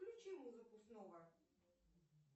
включи музыку снова